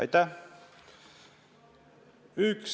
Aitäh!